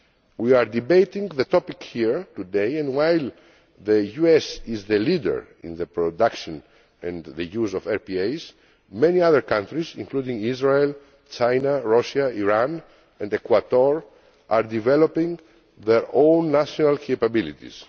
We are debating the topic here today, and while the US is the leader in the production and the use of RPAs, many other countries, including Israel, China, Russia, Iran and Ecuador, are developing their own national capabilities.